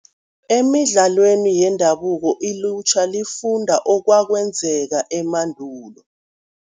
Emidlalweni yendabuko ilutjha lifunda okwakwenzeka emandulo.